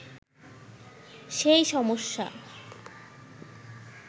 সেই সমস্যা